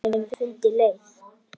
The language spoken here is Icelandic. En hann hefur fundið leið.